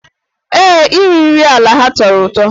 Ee, iri nri ala ha tọrọ ụtọ.